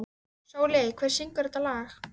Sóli, hver syngur þetta lag?